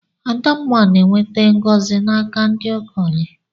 Adamma na-enweta ngọzi n'aka ndị okenye.